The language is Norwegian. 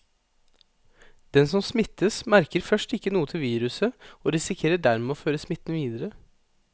Den som smittes, merker først ikke noe til viruset og risikerer dermed å føre smitten videre.